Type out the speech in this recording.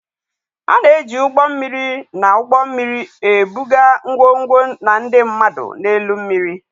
A na-eji ụgbọ mmiri na ụgbọ mmiri ebuga ngwongwo na ndị mmadụ n'elu mmiri.